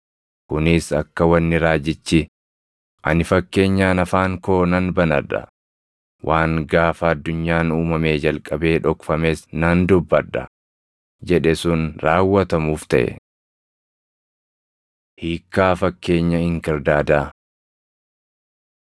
Kunis akka wanni raajichi, “Ani fakkeenyaan afaan koo nan banadha; waan gaafa addunyaan uumamee jalqabee dhokfames nan dubbadha” + 13:35 \+xt Far 78:2\+xt* jedhe sun raawwatamuuf taʼe. Hiikkaa Fakkeenya Inkirdaadaa